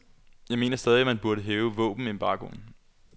Jeg mener stadig, at man burde hæve våbenembargoen.